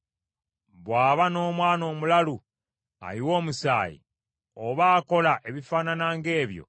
“Bw’aba n’omwana omulalu, ayiwa omusaayi, oba akola ebifaanana ng’ebyo,